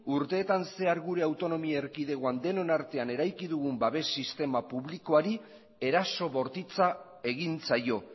urteetan zehar gure autonomia erkidegoan denon artean eraiki dugun babes sistema publikoari eraso bortitza egin zaio